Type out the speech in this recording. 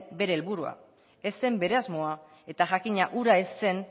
bere helburua ez zen bere asmoa eta jakina hura ez zen